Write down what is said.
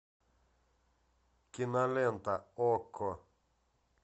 кинолента окко